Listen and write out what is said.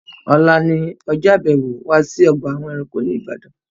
Ọ̀la ni ọjọ́ àbẹ̀wò wa sí ọgbà àwọn ẹranko ní Ibadan